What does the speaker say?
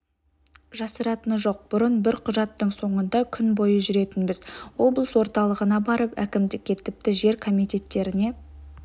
жасыратыны жоқ бұрын бір құжаттың соңында күн бойы жүретінбіз облыс орталығына барып әкімдікке тіпті жер комитеттеріне